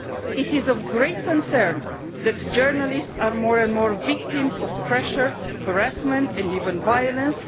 It is of great concern that journalists are more and more frequently the victims of pressure, harassment and even violence.